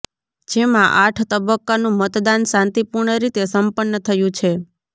જેમાં આઠ તબક્કાનું મતદાન શાંતિપૂર્ણ રીતે સંપન્ન થયું છે